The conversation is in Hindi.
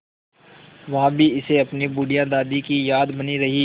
वहाँ भी इसे अपनी बुढ़िया दादी की याद बनी रही